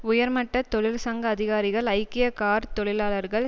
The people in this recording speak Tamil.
உயர்மட்ட தொழிற்சங்க அதிகாரிகள் ஐக்கிய கார் தொழிலாளர்கள்